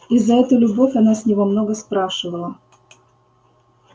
и за эту любовь она с него много спрашивала